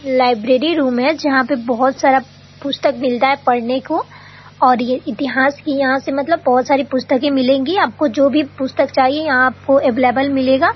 Library room है जहाँ पर बहुत सारा पुस्तक मिलता है पढ़ने को और ये इतिहास की यहाँ से मतलब बहुत सारा पुस्तकें मिलेंगी आपको जो भी पुस्तक चाहिए यहां आपको अवेलेबल मिलेगा।